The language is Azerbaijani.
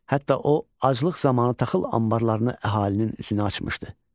Hətta o, aclıq zamanı taxıl anbarlarını əhalinin üzünə açmışdı.